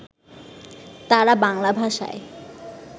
তাঁরা বাংলা ভাষায়